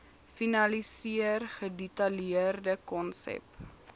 finaliseer gedetailleerde konsep